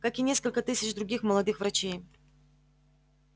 как и несколько тысяч других молодых врачей